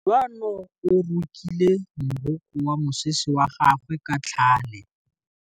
Kutlwanô o rokile morokô wa mosese wa gagwe ka tlhale.